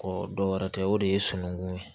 dɔ wɛrɛ tɛ o de ye sunukun ye